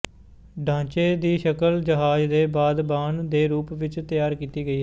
ਢਾਂਚੇ ਦੀ ਸ਼ਕਲ ਜਹਾਜ਼ ਦੇ ਬਾਦਬਾਨ ਦੇ ਰੂਪ ਵਿੱਚ ਤਿਆਰ ਕੀਤੀ ਗਈ ਹੈ